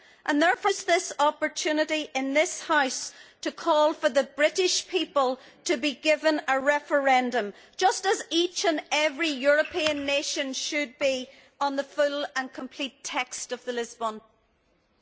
and therefore I want to use this opportunity in this House to call for the British people to be given a referendum, just as each and every European nation should be, on the full and complete text of the Lisbon Treaty.